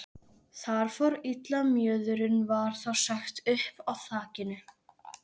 Þar fór illa mjöðurinn, var þá sagt uppi á þakinu.